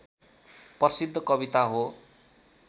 प्रसिद्ध कविता हो